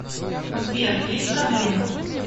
сбер есть проблемы